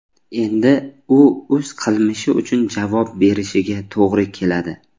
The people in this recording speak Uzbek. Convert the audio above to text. Endi u o‘z qilmishi uchun javob berishiga to‘g‘ri keladi.